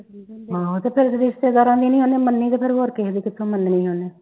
ਹਾਂ ਤੇ ਫਿਰ ਰਿਸ਼ਤੇਦਾਰਾਂ ਦੀ ਨੀ ਉਹਨੇ ਮੰਨਣੀ ਤੇ ਫਿਰ ਹੋਰ ਕਿਹੇ ਦੀ ਕਿਥੋਂ ਮੰਨਣੀ ਉਹਨੇ